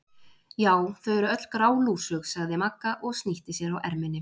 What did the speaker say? Já, þau eru öll grálúsug sagði Magga og snýtti sér á erminni.